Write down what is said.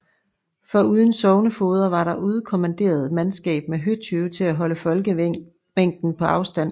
Foruden sognefogeder var der udkommanderet mandskab med høtyve til at holde folkemængden på afstand